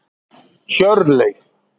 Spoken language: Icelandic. Hjörleif